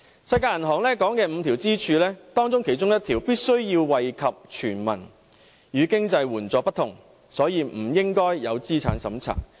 世界銀行所提倡的五根支柱之一的退休保障必須惠及全民，亦與經濟援助不同，所以不應設有資產審查。